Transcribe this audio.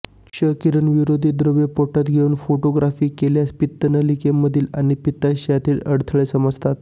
क्ष किरण विरोधी द्रव पोटात घेऊन फोटोग्राफी केल्यास पित्तनलिकेमधील आणि पित्ताशयातील अडथळे समजतात